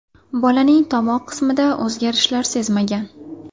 Bolaning tomoq qismida o‘zgarishlar sezmagan.